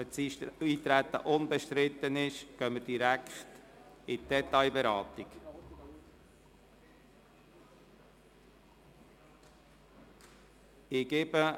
Wenn dann das Eintreten unbestritten ist, gehen wir direkt zur Detailberatung über.